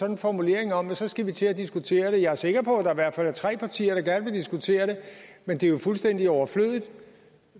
en formulering om at så skal vi til at diskutere det jeg er sikker på at der i hvert fald er tre partier der gerne vil diskutere det men det er jo fuldstændig overflødigt